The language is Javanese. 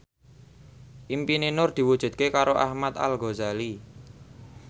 impine Nur diwujudke karo Ahmad Al Ghazali